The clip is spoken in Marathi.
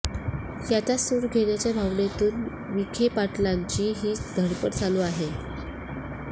याचाच सूड घेण्याच्या भावनेतून विखेपाटलांची ही धडपड चालू आहे